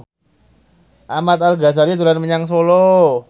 Ahmad Al Ghazali dolan menyang Solo